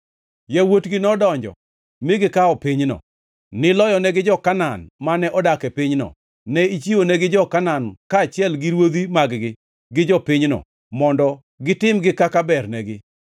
Yawuotgi nodonjo mi gikawo pinyno. Niloyonegi jo-Kanaan, mane odak e pinyno; ne ichiwonegi jo-Kanaan, kaachiel gi ruodhi mag-gi gi jopinyno, mondo gitimgi kaka bernegi.